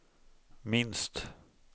minst